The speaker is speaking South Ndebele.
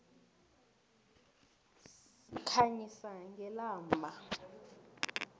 sikhanyisa ngelamba